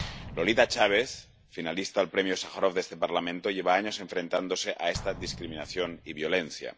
Lolita Chávez, finalista al Premio Sájarov de este Parlamento, lleva años enfrentándose a esta discriminación y violencia.